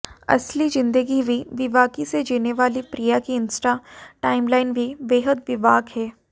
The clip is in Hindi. असली ज़िंदगी भी बेबाकी से जीने वाली प्रिया की इंस्टा टाइमलाइन भी बेहद बेबाक हैं